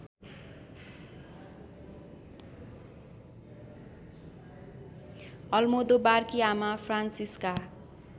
अलमोदोबारकी आमा फ्रान्सिस्का